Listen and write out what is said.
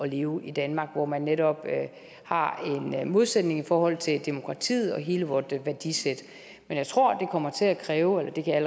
leve i danmark hvor man netop har en modsætning i forhold til demokratiet og hele vort værdisæt men jeg tror det kommer til at kræve eller det kan jeg